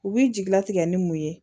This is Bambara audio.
U bi jigi latigɛ ni mun ye